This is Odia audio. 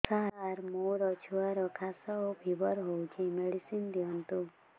ସାର ମୋର ଛୁଆର ଖାସ ଓ ଫିବର ହଉଚି ମେଡିସିନ ଦିଅନ୍ତୁ